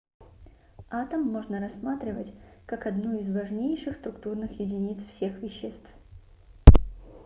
атом можно рассматривать как одну из важнейших структурных единиц всех веществ